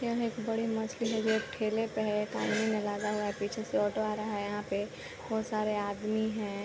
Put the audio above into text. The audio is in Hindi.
यह एक बड़े मछली का ठेले का एक आदमी हुआ है पीछे से ऑटो आ रहा है यहाँ पे बहुत सारे आदमी है ।